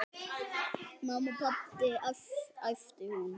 Mamma, pabbi æpti hún.